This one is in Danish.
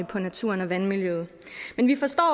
på naturen og vandmiljøet men vi forstår